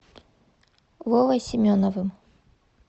вовой семеновым